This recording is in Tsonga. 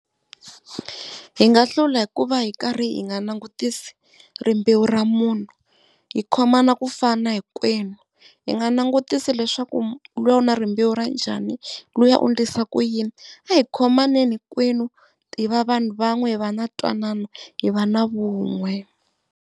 Hi nga hlula hikuva hi karhi hi nga langutisi rimbewu ra munhu, hi khomana kufana hinkwenu. Hi nga langutisi leswaku luya u na rimbewu ra njhani luya u endlisa ku yini, a hi khomaneni hinkwenu ti va vanhu van'we hi va na twanano hi va na vun'we.